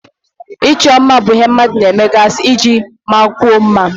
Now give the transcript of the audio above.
Ịchọ mma bụ ihe mmadụ na-emegasị iji mmanyekwuo mma.